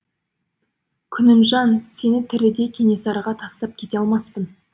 күнімжан сені тірідей кенесарыға тастап кете алмаспын